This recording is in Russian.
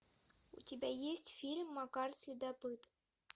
у тебя есть фильм макар следопыт